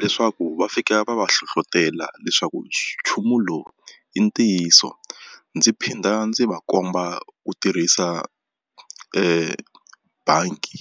leswaku va fika va va hlohlotela leswaku nchumu lowu i ntiyiso ndzi phinda ndzi va komba ku tirhisa bangi.